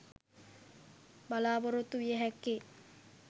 බලාපොරොත්තු විය හැක්කේ